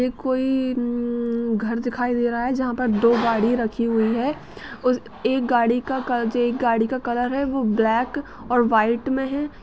कोई इम्म घर दिखाई दे रहा है जहां पर दो गाड़ी रखी हुई है उस एक गाड़ी का जे एक गाड़ी का कलर है वो ब्लैक और वाइट में है।